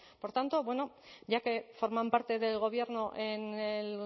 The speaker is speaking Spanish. por tanto bueno ya que forman parte del gobierno en el